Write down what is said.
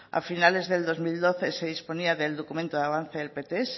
a finales del dos mil doce se disponía del documento de avance del pts